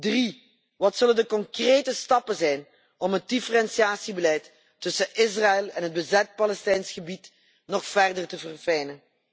Drie, wat zullen de concrete stappen zijn om het differentiatiebeleid tussen Israël en het bezet Palestijns gebied nog verder te verfijnen?